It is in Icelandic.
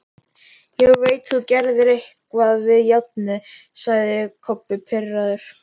Ég veit þú gerðir eitthvað við járnið, sagði Kobbi pirraður.